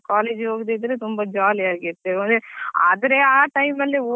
ನಾವ್ college ಹೋಗುದಿದ್ರೆ ತುಂಬಾ jolly ಆಗಿ ಇರ್ತೇವೆ ಅಂದ್ರೆ ಆದ್ರೆ ಆ time ಅಲ್ಲಿ.